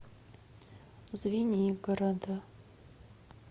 звенигорода